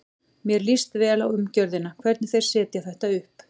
Mér líst vel á umgjörðina, hvernig þeir setja þetta upp.